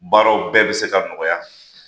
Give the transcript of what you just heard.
Baaraw bɛɛ bi se ka nɔgɔya